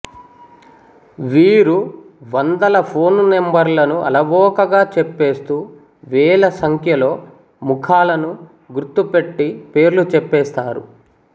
వీరు వందల ఫోన్ నంబర్లను అలవోకగా చెప్పేస్తూ వేలసంఖ్యలో ముఖాలను గుర్తుపెట్టి పేర్లు చెప్పేస్తారు